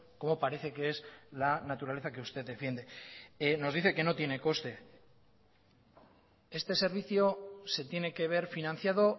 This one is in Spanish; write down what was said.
como parece que es la naturaleza que usted defiende nos dice que no tiene coste este servicio se tiene que ver financiado